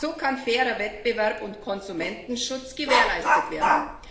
So kann fairer Wettbewerb und Konsumentenschutz gewährleistet werden.